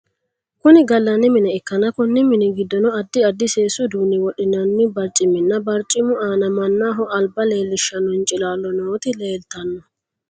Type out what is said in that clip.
Kunni galanni mine ikanna Konni minni gidoonni addi addi seesu uduune wodhinnanni barciminna barcimu aanna mannaho alba leelishano hincilaalo nooti leeltano.